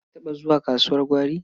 Na taɓa zuwa kasuwar gwari.